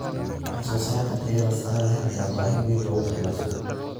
Wax soo saarka tayada sare leh ayaa baahi weyn loogu qabaa suuqa.